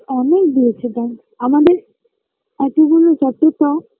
অনেক দিয়েছে আমাদের এতগুলো যতটা